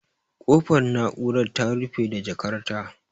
Kofar na'urar ta rufe da jakar ta